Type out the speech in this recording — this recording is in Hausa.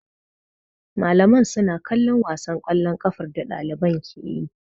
Malaman suna kallon wasan ƙwallon kafar da ɗaliban ke yi.